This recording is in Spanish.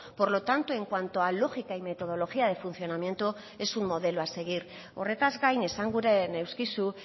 por lo tanto en cuanto a lógica y metodología de funcionamiento es un modelo a seguir horretaz gain esanguren neuskizu